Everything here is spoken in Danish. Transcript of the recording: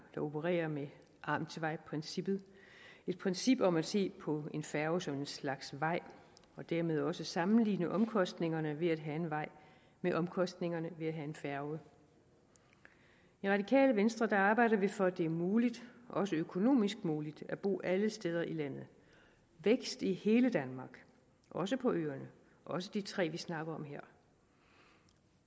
der opererer med amtsvejprincippet et princip om at se på en færge som en slags vej og dermed også sammenligne omkostningerne ved at have en vej med omkostningerne ved at have en færge i radikale venstre arbejder vi for at det er muligt også økonomisk muligt at bo alle steder i landet vækst i hele danmark også på øerne også de tre vi snakker om her